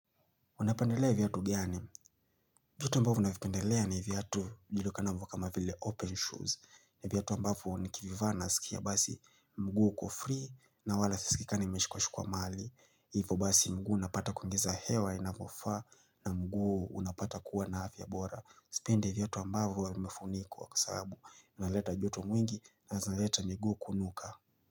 Unapendelea viatu gani? Viatu ambavyo navipendelea ni viatu vijulikanavyo kama vile open shoes. Ni viatu ambavyo nikivivaa nasikia basi mguu uko free na wala sisikii kaa nimeshikwa shikwa mahali. Hivo basi mguu unapata kuingiza hewa inavofaa na mguu unapata kuwa na afya bora. Sipendi viatu ambavyo vimefunikwa kwa sababu unaleta joto mwingi na zinaleta miguu kunuka.